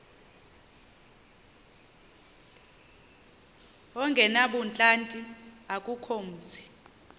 ongenabuhlanti akukho mzi